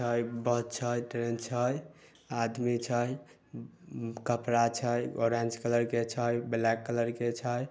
बस छै ट्रेन छै आदमी छै कपड़ा छै ऑरेंज कलर के छै ब्लैक कलर छै।